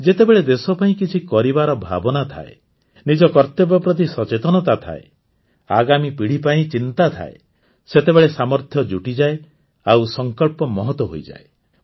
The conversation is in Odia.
ଯେତେବେଳେ ଦେଶ ପାଇଁ କିଛି କରିବାର ଭାବନା ଥାଏ ନିଜ କର୍ତ୍ତବ୍ୟ ପ୍ରତି ସଚେତନତା ଥାଏ ଆଗାମୀ ପିଢ଼ି ପାଇଁ ଚିନ୍ତା ଥାଏ ସେତେବେଳେ ସାମର୍ଥ୍ୟ ଜୁଟିଯାଏ ଆଉ ସଂକଳ୍ପ ମହତ୍ ହୋଇଯାଏ